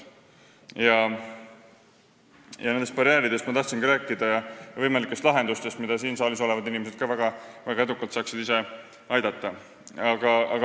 Ma tahangi rääkida nendest barjääridest ja võimalikest lahendustest, millele ka siin saalis olevad inimesed saaksid väga edukalt kaasa aidata.